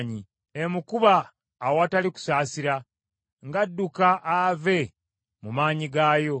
Emukuba awatali kusaasira, ng’adduka ave mu maanyi gaayo.